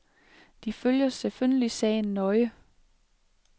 De følger selvfølgelig sagen nøje.